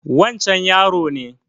Wancan yaron ne